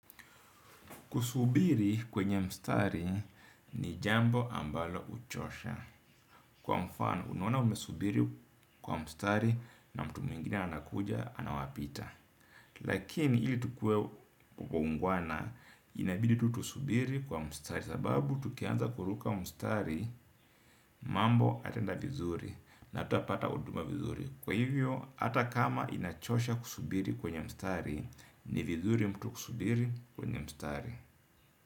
Kusubiri kwenye mstari ni jambo ambalo huchosha. Kwa mfano, unaona umesubiri kwa mstari na mtu mwingine anakuja anawapita. Lakini ili tukue kwa uungwana inabidi tu tusubiri kwa mstari. Sababu, tukianza kuruka mstari mambo hayataenda vizuri na hatutapata huduma vizuri. Kwa hivyo, hata kama inachosha kusubiri kwenye mstari ni vizuri mtu kusubiri kwenye mstari.